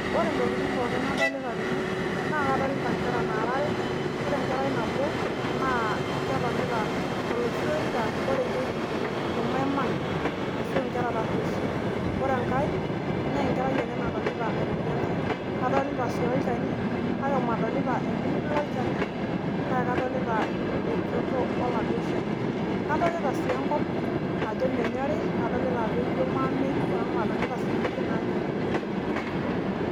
Ore ntokitin pooki nadolita tene naa kadolita nkera naara are ore nabo naa ketonita toloshi orika loreyieki irmaiman Ashu nkera tureishi, ore enkae naa enkerai ake natonita airorie enkae, kadolita sii olchani kake melio shumata. Elio sii ajo kenyori enkop etiu naa kejo atii olameyu amu melio nkujita naanyori